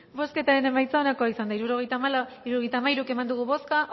bozkatu dezakegu bozketaren emaitza onako izan da hirurogeita hamairu eman dugu bozka